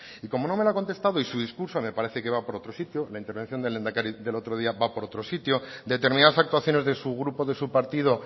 y como no me lo ha contestado y su discurso me parece que va por otro sitio la intervención del lehendakari del otro día va por otro sitio determinadas actuaciones de su grupo de su partido